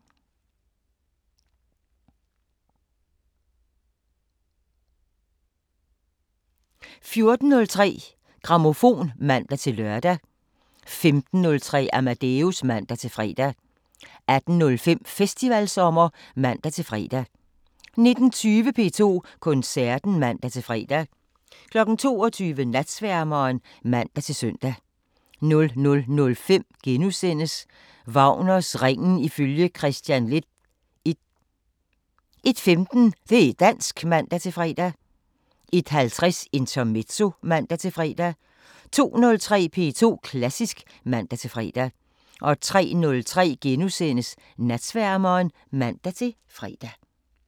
14:03: Grammofon (man-lør) 15:03: Amadeus (man-fre) 18:05: Festivalsommer (man-fre) 19:20: P2 Koncerten (man-fre) 22:00: Natsværmeren (man-søn) 00:05: Wagners Ringen ifølge Kristian Leth I * 01:15: Det' dansk (man-fre) 01:50: Intermezzo (man-fre) 02:03: P2 Klassisk (man-fre) 03:03: Natsværmeren *(man-fre)